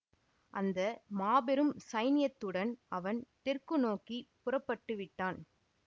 அந்த மாபெரும் சைன்யத்துடன் அவன் தெற்கு நோக்கி புறப்பட்டு விட்டான்